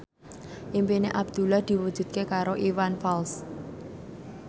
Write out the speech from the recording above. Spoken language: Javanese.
impine Abdullah diwujudke karo Iwan Fals